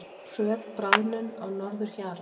Hröð bráðnun á norðurhjara